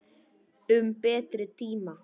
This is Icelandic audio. Um betri tíma.